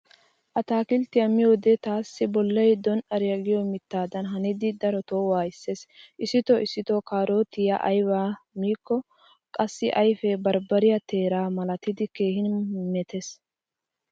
Attakilttiya miyode taassi bollay don"ariya giyo mittaadan hanidi daroto waayissees. Issito issito kaarotiya ayba mikko qassi ayfe barbbariya teera malatidi keehi metees.